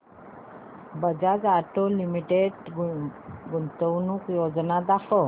Bajaj Auto Limited गुंतवणूक योजना दाखव